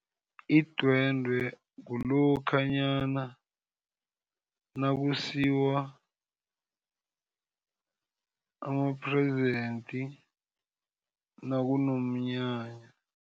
Idwendwe kulokhanyana nakusiwa ama-present nakunomnyanya.